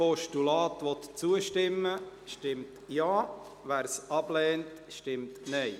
Wer diesem Postulat zustimmen will, stimmt Ja, wer es ablehnt, stimmt Nein.